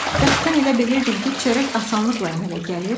Bəs sən elə bilirdin ki, çörək asanlıqla əmələ gəlir?